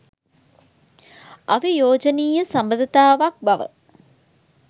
අවියෝජනීය සබඳතාවක් බව